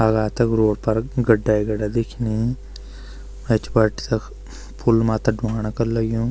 अगा तख रोड पर गड्डा ही गड्डा दिखेणी ऐंच बाट तख पुल माता ढूंडणा कर लग्युं।